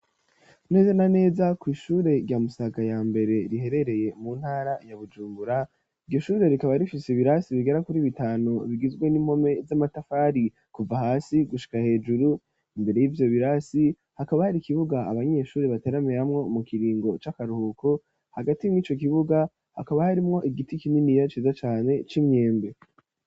Neze na neza kw'ishure rya Musaga ya mbere riherereye mu ntara ya Bujumbura iryo shure rikaba rifise ibirasi bigera kuri bitanu bigizwe n'impome z'amatafari kuva hasi gushika hejuru imbere yivyo birasi hakaba hari ikibuga abanyeshuri bateramiramwo mu kiringo c'akaruhuko hagati mwico kibuga hakaba harimwo igiti kinini ciza cane c'imyembe.